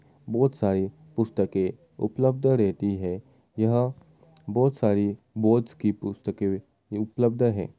बहुत सारी पुस्तकें उपलब्ध रहतीं हैं यहाँ बहुत सारी बोर्ड्स की पुस्तकें उपलब्ध हैं।